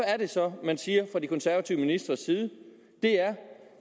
er det så man siger fra de konservative ministres side det er